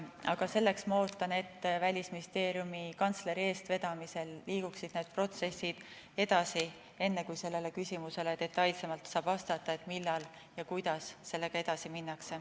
Aga selleks ma ootan, et Välisministeeriumi kantsleri eestvedamisel liiguksid need protsessid edasi, enne kui saab detailsemalt vastata sellele küsimusele, millal ja kuidas sellega edasi minnakse.